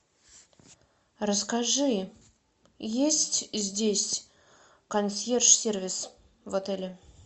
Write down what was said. расскажи есть здесь консьерж сервис в отеле